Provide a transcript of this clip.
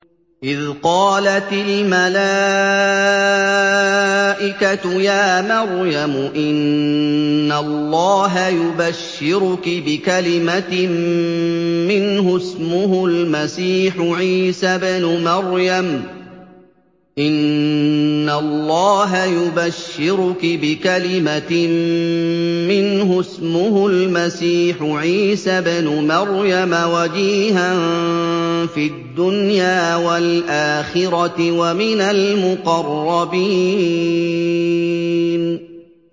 إِذْ قَالَتِ الْمَلَائِكَةُ يَا مَرْيَمُ إِنَّ اللَّهَ يُبَشِّرُكِ بِكَلِمَةٍ مِّنْهُ اسْمُهُ الْمَسِيحُ عِيسَى ابْنُ مَرْيَمَ وَجِيهًا فِي الدُّنْيَا وَالْآخِرَةِ وَمِنَ الْمُقَرَّبِينَ